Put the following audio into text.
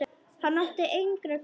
Hann átti engra kosta völ.